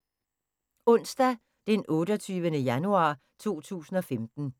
Onsdag d. 28. januar 2015